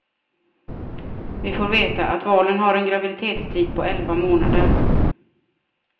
Vi får veta att valen har en graviditetstid på elva månader.